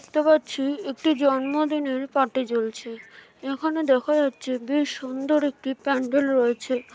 দেখতে পাচ্ছি একটি জন্মদিনের পার্টি চলছে এখনো দেখা যাচ্ছে বেশ সুন্দর একটি প্যান্ডেল রয়েছে ।